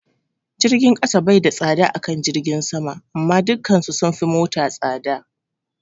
Jirgin kasa bai da tsada akan jirgin sama amma dukan su sunfi mata tsada